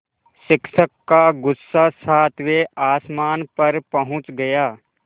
शिक्षक का गुस्सा सातवें आसमान पर पहुँच गया